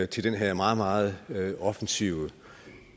til den her meget meget offensive